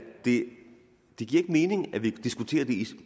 det giver mening at vi diskuterer det